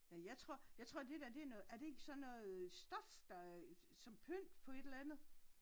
Ja jeg tror jeg tror dét der det er noget er det ikke sådan noget stof der som pynt på et eller andet?